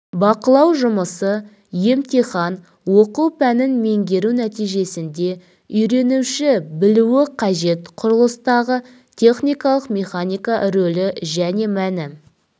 бақылау жұмысы емтихан оқу пәнін меңгеру нәтижесінде үйренуші білуі қажет құрылыстағы техникалық механика рөлі және мәні